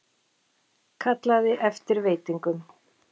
Kallaði eftir veitingum.